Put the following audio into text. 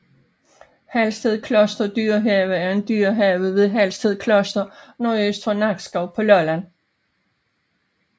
Halsted Kloster Dyrehave er en dyrehave ved Halsted Kloster nordøst for Nakskov på Lolland